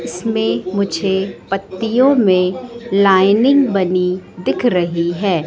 इसमें मुझे पत्तियों में लाइनिंग बनी दिख रही है।